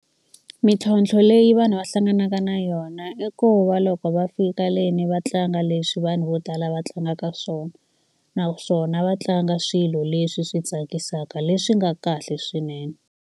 Mintlhontlho leyi vanhu va hlanganaka na yona i ku va loko va fika le ni va tlanga leswi vanhu vo tala va tlangaka swona. Naswona va tlanga swilo leswi swi tsakisaka leswi nga kahle swinene.